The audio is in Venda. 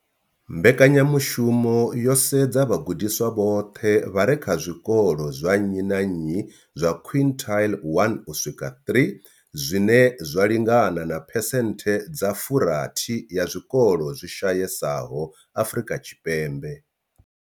Mbekanyamushumo yo sedza vhagudiswa vhoṱhe vha re kha zwikolo zwa nnyi na nnyi zwa quintile 1 uswika 3, zwine zwa lingana na phesenthe dza 60 ya zwikolo zwi shayesaho Afrika Tshipembe.